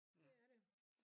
Det er det